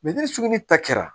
ni sugu ni ta kɛra